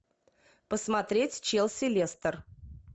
посмотреть челси лестер